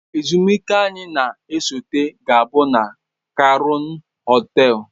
Ezumike anyị na-esote ga-abụ na kraun hotels